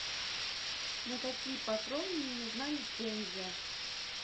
на какие патроны не нужна лицензия